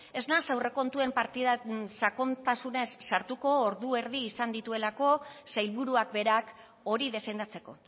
ez naiz aurrekontuen partidak sakontasunean sartuko ordu erdi izan dituelako sailburuak berak hori defendatzeko